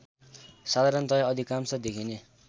साधारणतया अधिकांश देखिने